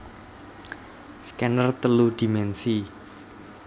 Scanner telu dimensi